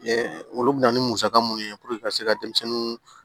olu bɛ na ni musaka minnu ye ka se ka denmisɛnninw